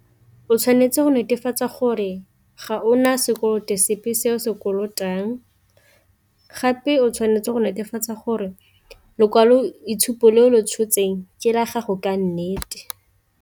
O tshwanetse go netefatsa gore ga ona sekoloto sepe se o se kolotang, gape o tshwanetse go netefatsa gore lekwalo itshupo le o lo tshotseng ke la gago ka nnete.